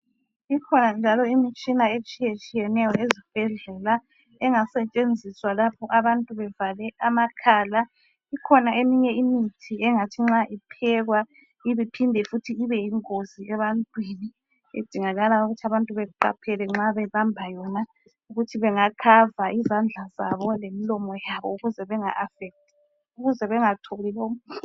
Ikhona njalo imitshina etshiyeneyo ezibhedlela engasetshenziswa lapho abantu bevale amakhala. Ikhona eminye imithi engathi nxa iphekwa iphinde futhi ibe yingozi ebantwini edingakala ukuthi abantu beqaphele nxa bebamba yona ukuthi bengavala izandla zabo lemilomo yabo ukuze bengaphambaniseki.